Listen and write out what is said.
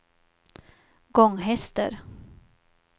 Gånghester